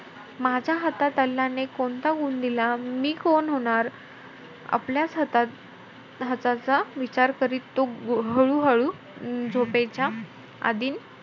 माझ्या हातात अल्लाने कोणता गुण दिला? मी कोण होणार? आपल्याचं हाताचा~ हाताचा विचार करत तो हळू-हळू झोपेच्या अधीन,